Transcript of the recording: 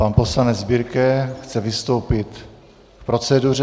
Pan poslanec Birke chce vystoupit k proceduře.